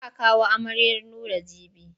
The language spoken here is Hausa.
Za a kawo amaryar Nura jibi.